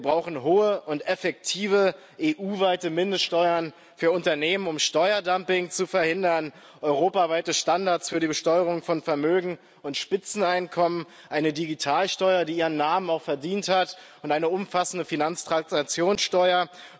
Wir brauchen hohe und effektive EU weite Mindeststeuern für Unternehmen, um Steuerdumping zu verhindern, europaweite Standards für die Besteuerung von Vermögen und Spitzeneinkommen, eine Digitalsteuer, die ihren Namen auch verdient hat, und eine umfassende Finanztransaktionssteuer.